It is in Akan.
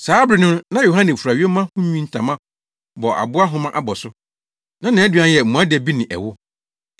Saa bere no na Yohane fura yoma ho nwi ntama bɔ aboa nhoma abɔso. Na nʼaduan yɛ mmoadabi ne ɛwo.